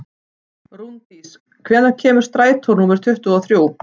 Rúndís, hvenær kemur strætó númer tuttugu og þrjú?